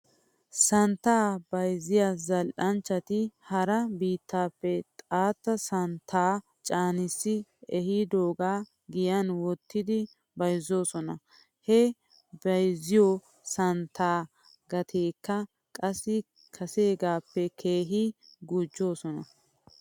Santtaa bayzziyaa zal'anchchati hara biittappe xaatta santtaa caanissi ehidoogaa giyan wottidi bayzzoosona. He bayzziyoo santtaa gatiyaakka qassi kaseegaappe keehi gujjidosona.